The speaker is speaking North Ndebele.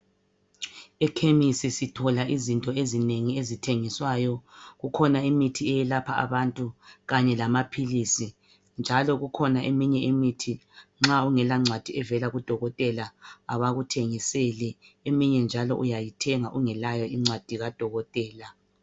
Ekhemisi sitho izinto ezinengi ezithengiswayo kukhona imithi eyelapha abantu kanye lamaphilizi njalo kukhona eyinye imithi ma ungela ncwadi evela kudokotela awuyithengi eminye njalo uyayithenga ungelayo incwadi kadokotela